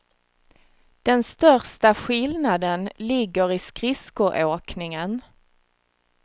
Den största skillnaden ligger i skridskoåkningen.